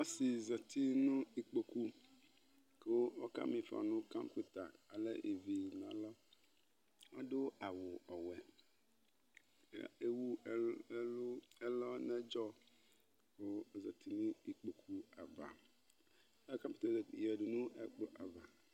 Ɔsɩ zati nʋ iƙpoƙu ƙʋ ɔƙa m' ɩƒɔ nʋ